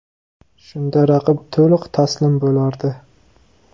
Shunda raqib to‘liq taslim bo‘lardi.